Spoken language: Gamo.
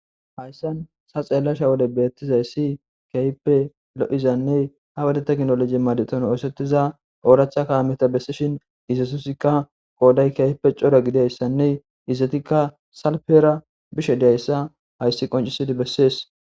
Hayssan sa xeellasha wode beettizay si keype lo7izanne ha wodeta ginoloje maadeton oosettiza oorachaka meta bessishin izatusikka qooday keyipe cora gidayssanne izatikka salfera bishe deayssa hayssi qoncisidi bessees.